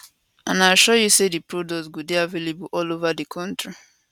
and i assure you say dis product go dey available all ova di kontri